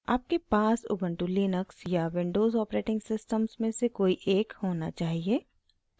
आपके पास ubuntu Linux या windows operating सिस्टम्स में से कोई एक होना चाहिए